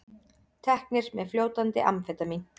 Teknir með fljótandi amfetamín